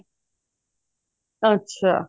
ਅੱਛਾ